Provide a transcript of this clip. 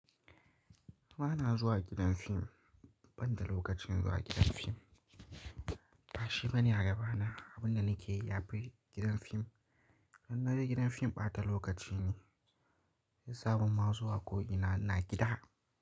Ba na zuwa gidan fim, ban da lokacin zuwa gidan fim. Ɓashi bane a gaba na abin da nake yi a fili gidan fim. Idan na je gidan fim bata lokaci ne. Sabon ma zuwa ko ina na gida.